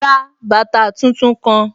Ra bàtà tun-tun kan!